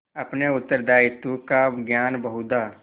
अपने उत्तरदायित्व का ज्ञान बहुधा